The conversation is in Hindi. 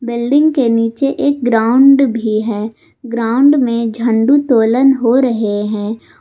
बिल्डिंग के नीचे एक ग्राउंड भी है ग्राउंड में झंडू तोलन हो रहे हैं।